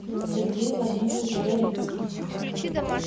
сергей владимирович горицкий